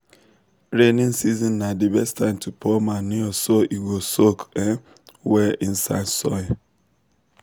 rainy season na the best time to pour manure so e go soak um well inside soil.